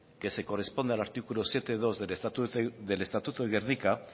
que se corresponde al artículo siete punto dos del estatuto de gernika